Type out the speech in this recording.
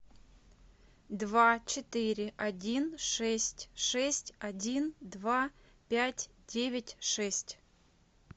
два четыре один шесть шесть один два пять девять шесть